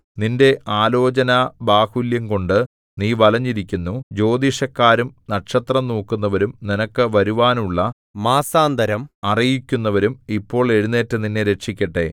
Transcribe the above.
നിന്റെ ആലോചനാബാഹുല്യംകൊണ്ടു നീ വലഞ്ഞിരിക്കുന്നു ജ്യോതിഷക്കാരും നക്ഷത്രം നോക്കുന്നവരും നിനക്ക് വരുവാനുള്ള മാസാന്തരം അറിയിക്കുന്നവരും ഇപ്പോൾ എഴുന്നേറ്റു നിന്നെ രക്ഷിക്കട്ടെ